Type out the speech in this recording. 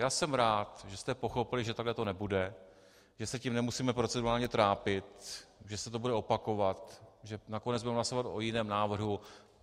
Já jsem rád, že jste pochopili, že takhle to nebude, že se tím nemusíme procedurálně trápit, že se to bude opakovat, že nakonec budeme hlasovat o jiném návrhu.